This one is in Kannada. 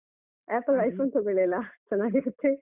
Apple iPhone ತಗೊಳಿ ಅಲ್ಲ ಚೆನ್ನಾಗಿರತ್ತೆ.